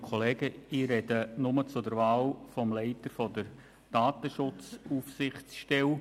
Ich äussere mich nur zur Wahl des Leiters der Datenschutzaufsichtsstelle.